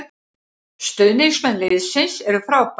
Stuðningsmenn liðsins eru frábær